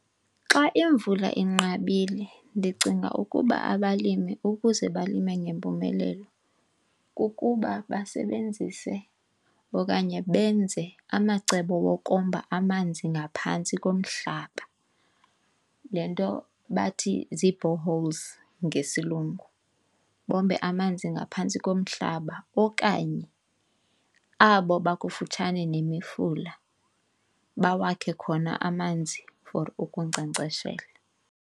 Xa imvula inqabile ndicinga ukuba abalimi ukuze balime ngempumelelo kukuba basebenzise okanye benze amacebo wokomba amanzi ngaphantsi komhlaba, le nto bathi zii-borehole ngesilungu. Bombe amanzi ngaphantsi komhlaba okanye abo bakufutshane nemifula bawakhe khona amanzi for ukunkcenkceshela.